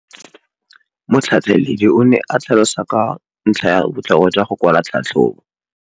Motlhatlheledi o ne a tlhalosa ka ntlha ya botlhokwa jwa go kwala tlhatlhôbô.